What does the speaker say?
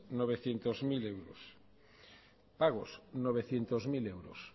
novecientos mil euros pagos novecientos mil euros